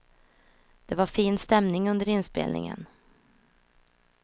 Det var fin stämning under inspelningen.